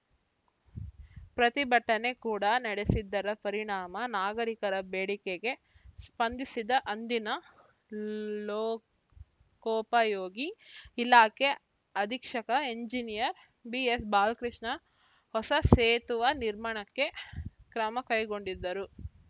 ಪ್ರತಿಭಟನೆ ಕೂಡ ನಡೆಸಿದ್ದರ ಪರಿಣಾಮ ನಾಗರೀಕರ ಬೇಡಿಕೆಗೆ ಸ್ಪಂದಿಸಿದ್ದ ಅಂದಿನ ಲೋಕೋಪಯೋಗಿ ಇಲಾಖೆ ಅಧೀಕ್ಷಕ ಎಂಜಿನಿಯರ್‌ ಬಿಎಸ್‌ಬಾಲಕೃಷ್ಣ ಹೊಸ ಸೇತುವೆ ನಿರ್ಮಾಣಕ್ಕೆ ಕ್ರಮ ಕೈಗೊಂಡಿದ್ದರು